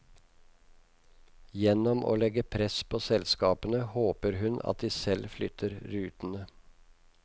Gjennom å legge press på selskapene håper hun at de selv flytter rutene.